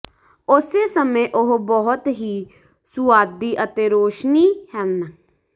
ਉਸੇ ਸਮੇਂ ਉਹ ਬਹੁਤ ਹੀ ਸੁਆਦੀ ਅਤੇ ਰੋਸ਼ਨੀ ਹਨ